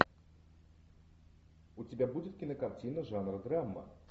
у тебя будет кинокартина жанра драма